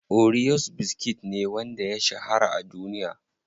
Oreos biskit ne wanda ya shahara a duniya.